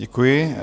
Děkuji.